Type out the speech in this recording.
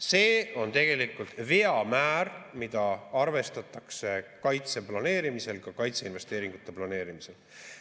See on tegelikult veamäär, mida arvestatakse kaitse planeerimisel, ka kaitseinvesteeringute planeerimisel.